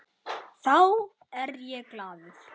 Þá er ég glaður.